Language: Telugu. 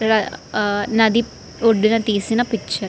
ఇది నటి ఒడ్డున తీసిన పిక్చర్ .